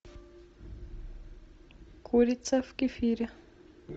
курица в кефире